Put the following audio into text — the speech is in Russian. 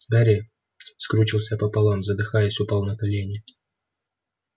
гарри скрючился пополам задыхаясь упал на колени